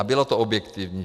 A bylo to objektivní.